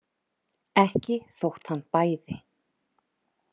Ekki þótt hann bæði.